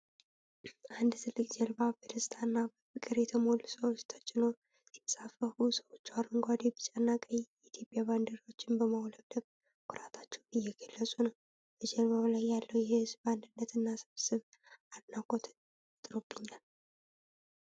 አንድ ትልቅ ጀልባ በደስታ እና በፍቅር በተሞሉ ሰዎች ተጭኖ ሲንሳፈፍ ፤ ሰዎቹ አረንጓዴ፣ ቢጫና ቀይ የኢትዮጵያ ባንዲራዎችን በማውለብለብ ኩራታቸውን እየገልፁ ነው:: በጀልባው ላይ ያለው የሕዝብ አንድነትና ስብስብ አድናቆትን ፈጥሮብኛል።